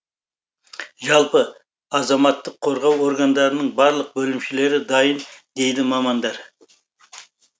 жалпы азаматтық қорғау органдарының барлық бөлімшелері дайын дейді мамандар